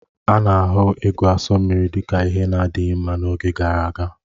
A na-ahụ ịgu asụ mmiri dị ka ihe na-adịghị mma n'oge gara aga